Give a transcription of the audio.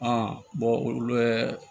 olu yɛrɛ